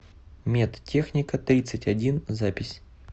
медтехника тридцать один запись